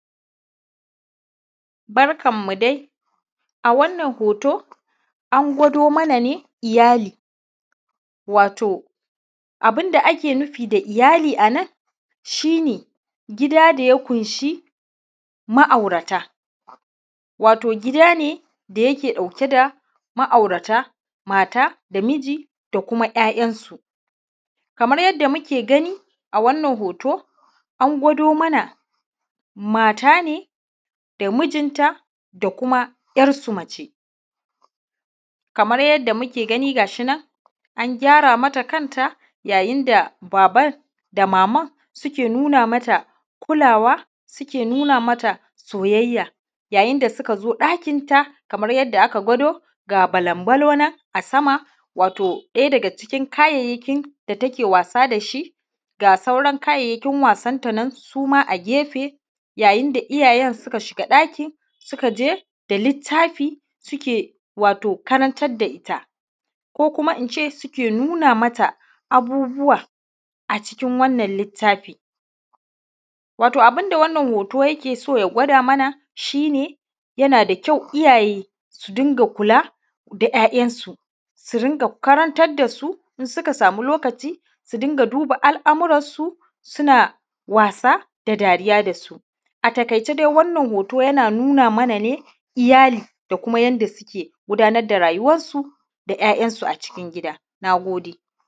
Barkan mu dai wannan hoto an gwado mana ne iyali watau abun da ake nufi da iyali a nan shi ne gida da ya ƙunshi ma`aurata wato gida ne da yake ɗauke da ma`aurata, mata da miji da kuma `ya`yansu kamar yanda muke gani a wannan hoto an gwado mana mata ne da mijin ta da kuma `yar su mace, kamar yanda muke gani gashi nan an gyara mata kan ta yayin da baban da maman suke nuna mata kulawa suke nuna mata soyayya yayin da suka zo ɗakin ta kaman yanaaka gwado ga ballon ballon a sama wato ɗaya daga cikin kayayyakin da take wasa da shi watau sauran kayayyakin wasan nan suma a gefe yayin da iyayen suke shiga ɗaki suka je da littafi suke watau karantar da ita ko kuma ince suke nuna mata abubuwa a cikin wannan littafi, wato abun da wannan hoto yake so ya gwada mana shi ne yana da kyau iyaye su rinƙa kula da `ya`yansu, su rinƙa karantar da su in suka samu lokaci su dunga duba al`amuransu su suna wasa da dariya da su a taƙaice da wannan hoto yana nuna mana ne iyali da kuma yanda suke gudanar da rayuwansu da `ya`yansu a cikin gida, na gode.